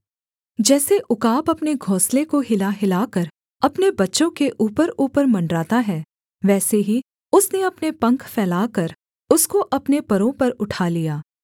जैसे उकाब अपने घोंसले को हिलाहिलाकर अपने बच्चों के ऊपरऊपर मण्डराता है वैसे ही उसने अपने पंख फैलाकर उसको अपने परों पर उठा लिया